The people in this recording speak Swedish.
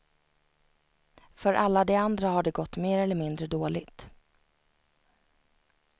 För alla de andra har det gått mer eller mindre dåligt.